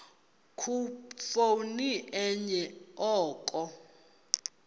khuphoni enye oko